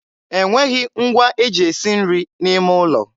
e nweghị ngwa e ji esi nri n'ime ụlọ.